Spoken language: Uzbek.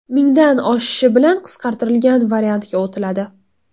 Mingdan oshishi bilan qisqartirilgan variantga o‘tiladi.